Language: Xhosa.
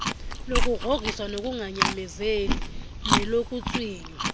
lokugrhogrhiswa lokunganyamezeli nelokuntswinywa